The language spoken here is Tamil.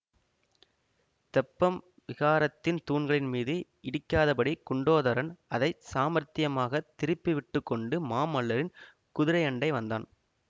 தெப்பம் விஹாரத்தின் தூண்களின் மீது இடிக்காதபடி குண்டோதரன் அதை சாமர்த்தியமாகத் திருப்பி விட்டு கொண்டு மாமல்லரின் குதிரையண்டை வந்தான்